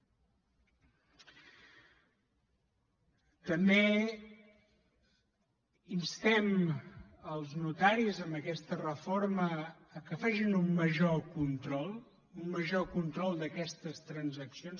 també instem els notaris amb aquesta reforma que facin un major control un major control d’aquestes transaccions